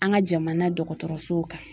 An ka jamana dɔgɔtɔrɔsow kan.